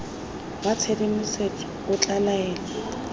wa tshedimosetso o tla laela